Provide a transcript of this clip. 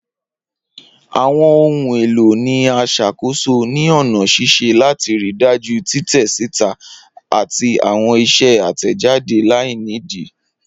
Awọn ohun elo ni a ṣakoso ni ọna ṣiṣe lati rii daju titẹ sita ati awọn iṣẹ atẹjade lainidi.